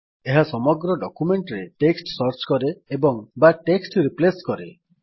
ଏହା ସମଗ୍ର ଡକ୍ୟୁମେଣ୍ଟ୍ ରେ ଟେକ୍ସଟ୍ ସର୍ଚ୍ଚ କରେ ଏବଂବା ଟେକ୍ସଟ୍ ରିପ୍ଲେସ୍ କରେ